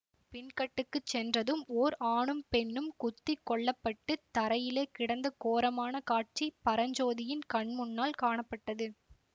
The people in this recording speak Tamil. பின்கட்டுக்குச் சென்றதும் ஓர் ஆணும் பெண்ணும் குத்தி கொல்லப்பட்டுத் தரையிலே கிடந்த கோரமான காட்சி பரஞ்சோதியின் கண்முன்னால் காணப்பட்டது